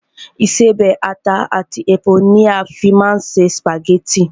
Ìṣebẹ̀, ata àti epo ni a fín máa ń se sùpàgẹ́tì